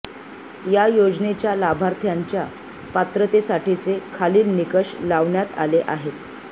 या योजनेच्या लाभार्थ्यांच्या पात्रतेसाठीचे खालील निकष लावण्यात आले आहे